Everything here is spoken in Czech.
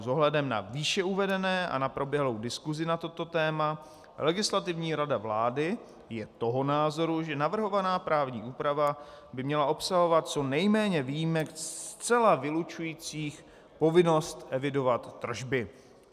S ohledem na výše uvedené a na proběhlou diskusi na toto téma Legislativní rada vlády je toho názoru, že navrhovaná právní úprava by měla obsahovat co nejméně výjimek zcela vylučujících povinnost evidovat tržby.